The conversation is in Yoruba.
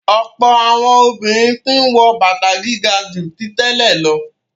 Ọ̀pọ̀ àwọn obìnrin tí ń wọ bàtà gíga ju tí tẹ́lẹ̀ lọ.